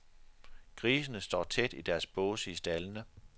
Grisene står tæt i deres båse i staldene.